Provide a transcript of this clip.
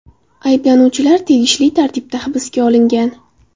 Ayblanuvchilar tegishli tartibda hibsga olingan.